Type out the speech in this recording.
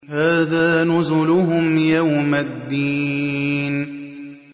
هَٰذَا نُزُلُهُمْ يَوْمَ الدِّينِ